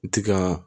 Ti ka